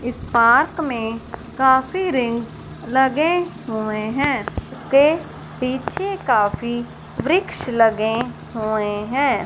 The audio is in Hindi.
इस पार्क में काफी रिंग्स लगे हुए हैं उस के पीछे काफी वृक्ष लगे हुए हैं।